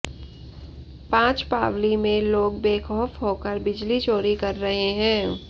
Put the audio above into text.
पांचपावली में लोग बेखौफ होकर बिजली चोरी कर रहे हैं